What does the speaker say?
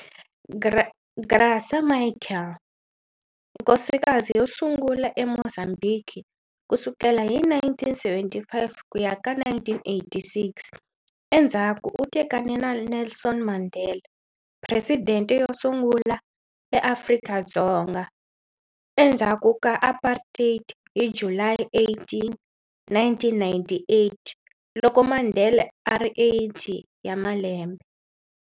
Graca Machel, Nkosikazi yo sungula eMozambhiki ku sukela hi 1975 ku ya ka1986, endzhaku u tekane na Nelson Mandela, Presidente yo sungula eAfrika-Dzonga endhaku ka Apartheid hi July 18, 1998, loko Mandela a ri 80 ya malembe.